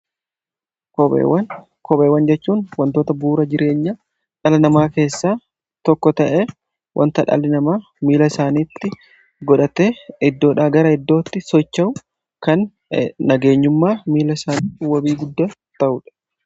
kopheewwan jechuun wantoota bu'uura jireenya dhala namaa keessaa tokko ta'e wanta dhalli namaa miila isaatti godhatee iddoodha gara iddootti socha'u kan nageenyummaa miila isaa wabii godhateedha.